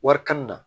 Wari kan na